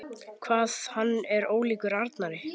Hvað hann er ólíkur Arnari!